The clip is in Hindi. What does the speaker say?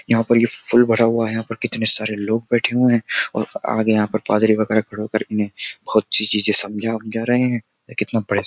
यहाँ पर यह फुल भरा हुआ है यहां पर कितने सारे लोग बैठे हुए हैं और आगे यहाँ पर पादरी वगैरह खड़े होकर इन्हें बहुत सी चीजें समझा हम जा रहे हैं कितना बड़े --